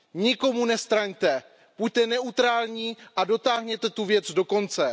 Nikomu nestraňte, buďte neutrální a dotáhněte tu věc do konce.